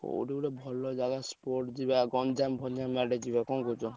କୋଉଠି ଗୋଟେ ଭଲ ଯାଗ spot ଯିବା ଗଞ୍ଜାମ ଫଞ୍ଜାମ ଆଡେ ଯିବା କଣ କହୁଛ?